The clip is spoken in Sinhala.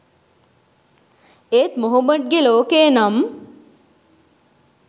ඒත් මොහොමඩ්ගේ ලෝකය නම්